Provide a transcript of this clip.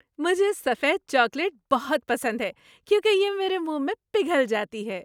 مجھے سفید چاکلیٹ بہت پسند ہے کیونکہ یہ میرے منہ میں پگھل جاتی ہے۔